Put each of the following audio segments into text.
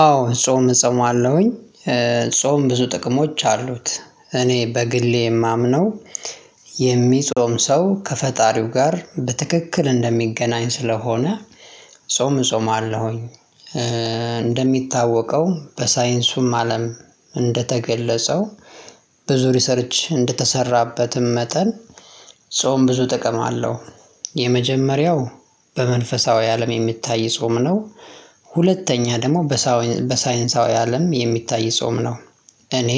አዎ ጾም እጾማለሁኝ። ጾም ብዙ ጥቅሞች አሉት እኔ በግሌ የማምነው የሚጾም ሰው ከፈጣሪው ጋር በትክክል እንደሚገናኝ ስለሆነ ጾም እጾማለሁኝ። እንደሚታወቀው በሳይንሱም አለም እንደተገለጸው ብዙ ሪሰርች እንደተሰራበትም መጠን ጾም ብዙ ጥቅም አለው። የመጀመሪያው በመንፈሳዊ አለም የሚታይ ጾም ነው። ሁለተኛ ደግሞ በሳይንሳዊ አለም የሚታይ ጾም ነው። እኔ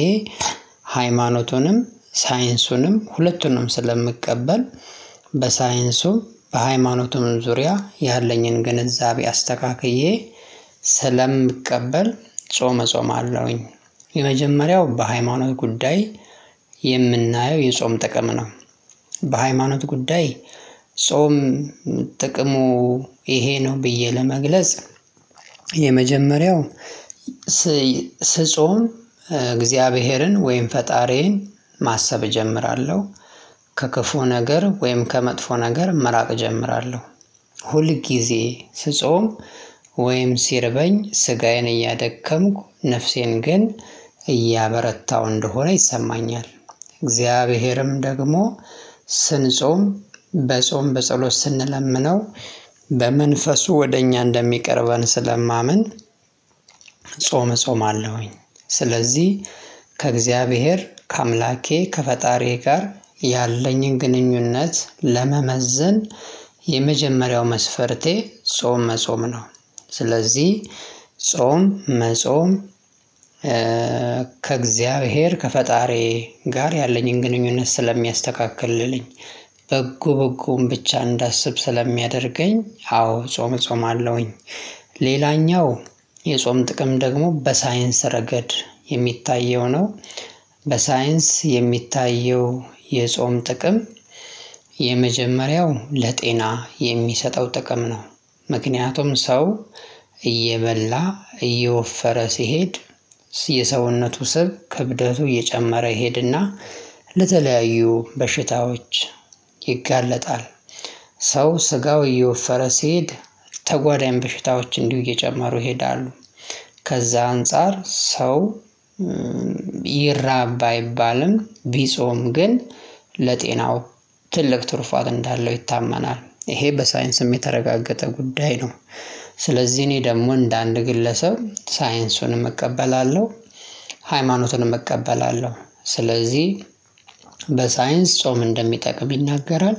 ሃይማኖቱንም ሳይንሱንም ሁለቱንም ስለምቀበል በሳይንሱም በሃይማኖቱም ዙሪያ ያለኝን ግንዛቤ አስተካክዬ ስለምቀበል ጾም እጾማለሁኝ። የመጀመሪያው በሃይማኖት ጉዳይ የምናየው የጾም ጥቀም ነው። በሃይማኖት ጉዳይ ጾም ጥቅሙ ይሄ ነው ብዬ ለመግለጽ። የመጀመሪያው ስጾም እግዚአብሔርን ወይም ፈጣሪዬን ማሰብ እጀምራለሁ ከክፉ ነገር ወይም ከመጥፎ ነገር መራቅ እጀምራለሁ ሁል ጊዜ ስጾም ወይም ሲርበኝ ስጋዬን እያደከምኩ ነፍሴን ግን እያበረታው እንደሆነ ይሰማኛል። እግዚአብሔርም ደግሞ ስንጾም በጾም በጸሎት ስንለምነው በመንፈሱ ወደ እኛ እንደሚቀርበን ስለማምን። ጾምአለሁኝ ስለዚህ ከእግዚአብሔር ከአምላኬ ከፈጣሪዬ ጋር ያለኝን ግንኙነት ለመመዘን የመጀመሪያው መስፈርቴ ጾም መጾም ነው። ስለዚህ ጾም መጾም ከእግዚአብሔር ከፈጣሪዬ ጋር ያለኝን ግንኙነት ስለሚያስተካክልልኝ በጎ በጎውን ብቻ እንዳስብ ስለሚያደርገኝ አዎ ጾም እጾማለሁኝ። ሌላኛው የጾም ጥቅም ደግሞ በሳይንስ ረገድ የሚታየው ነው። በሳይንስ የሚታየው የጾም ጥቅም የመጀመሪያው ለጤና የሚሰጠው ጥቅም ነው። ምክንያቱም ሰው እየበላ እየወፈረ ሲሄድ የሰውነቱ ስብ ክብደቱ እየጨመረ ይሄድና ለተለያዩ በሽታዎች ይጋለጣል። ሰው ስጋው እየወፈረ ሲሄድ ተጓዳኝ በሽታዎች እንዲሁ እየጨመሩ ይሄዳሉ። ከዛ አንፃር ሰው ይራብ ባይባልም ቢጾም ግን ለጤናው ትልቅ ትሩፋት እንዳለው ይታመናል ይሄ በሳይንስም የተረጋገጠ ጉዳይ ነው። ስለዚህ እኔ ደግሞ እንደ አንድ ግለሰብ ሳይንሱንም እቀበላለሁ። ሃይማኖቱንም እቀበላለሁ ስለዚህ በሳይንስ ጾም እንደሚጠቅም ይናገራል።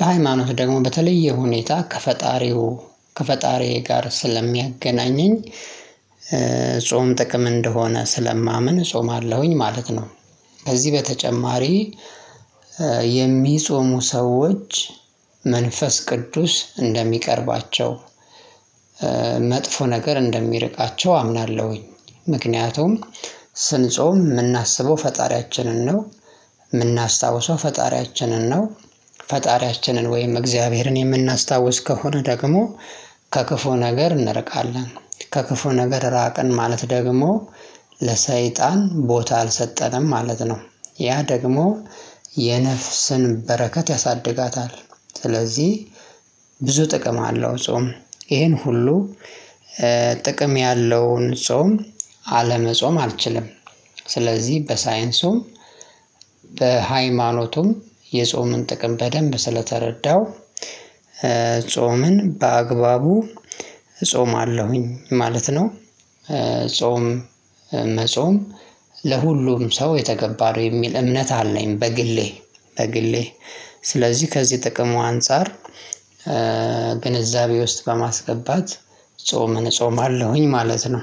በሃይማኖት ደግሞ በተለየ ሁኔታ ከፈጣሪው ከፈጣሪዬ ጋር ስለሚያገናኘኝ ጥቅም እንደሆነ ስለማምን እጾማለሁኝ ማለት ነው። ከዚህ በተጨማሪ የሚጾሙ ሰዎች መንፈስ ቅዱስ እንደሚቀርባቸው መጥፎ ነገር እንደሚርቃቸው አምናለሁኝ። ምክንያቱም ስንጾም የምናስበው ፈጣሪያችንን ነው የምናስታውሰው ፈጣሪያችንን ነው። ፈጣሪያችንን ወይም እግዚአብሔርን የምናስታውስ ከሆነ ደግሞ ከክፉ ነገር እንርቃለን ከክፉ ነገር ራቀን ማለት ደግሞ ለሰይጣን ቦታ አልሰጠንም ማለት ነው። ያ ደግሞ የነፍስን በረከት ያሳድጋታል ስለዚህ ብዙ ጥቅም አለው ጾም ይሄን ሁሉ ጥቅም ያለውን ጾም አለመጾም አልችልም። በሳይንሱም በሃይማኖቱም የጾምን ጥቅም በደንብ ስለተረዳው ጾምን በአግባቡ እጾማለሁኝ ማለት ነው። ጾም መጾም ለሁሉም ሰው የተገባ ነው የሚል እምነት አለኝ። በግሌ በግሌ ስለዚህ ከዚህ ጥቅሙ አንፃር ግንዛቤ ውስጥ በማስገባት ጾምን እጾማለሁኝ ማለት ነው